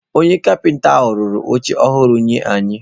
Onye kapịta ahụ rụrụ oche ọhụrụ nye anyị.